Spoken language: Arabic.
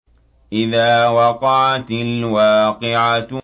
إِذَا وَقَعَتِ الْوَاقِعَةُ